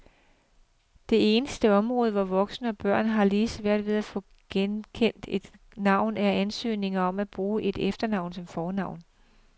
Det eneste område, hvor voksne og børn har lige svært ved at få godkendt et navn, er ansøgninger om at bruge et efternavn som fornavn.